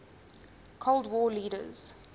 cold war leaders